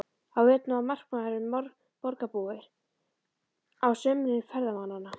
Á veturna var markaðurinn borgarbúa, á sumrin ferðamannanna.